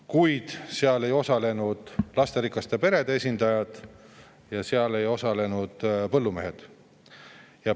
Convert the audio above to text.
Kuid seal ei osalenud lasterikaste perede esindajad ja seal ei osalenud põllumehed.